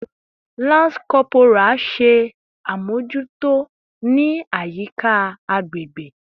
Lance Corporal! Ṣe abojuto ni ayika agbegbe